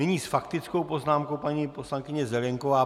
Nyní s faktickou poznámkou paní poslankyně Zelienková.